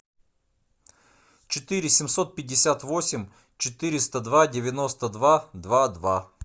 четыре семьсот пятьдесят восемь четыреста два девяносто два два два